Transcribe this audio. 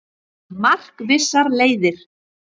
Markvissar leiðir